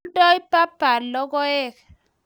Oldoi baba logoek